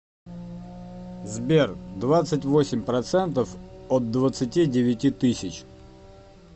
сбер двадцать восемь процентов от двадцати девяти тысяч